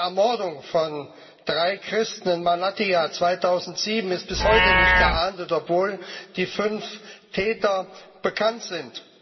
Die Ermordung von drei Christen in Malatya 2007 ist bis heute nicht geahndet, obwohl die fünf Täter bekannt sind.